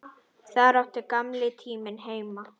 Þar átti gamli tíminn heima.